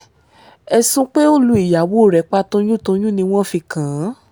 ẹ̀sùn pé ó lu ìyàwó rẹ̀ pa toyúntoyùn ni wọ́n fi kàn án